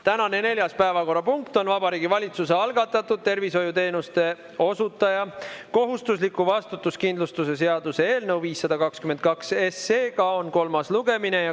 Tänane neljas päevakorrapunkt on Vabariigi Valitsuse algatatud tervishoiuteenuse osutaja kohustusliku vastutuskindlustuse seaduse eelnõu 522 kolmas lugemine.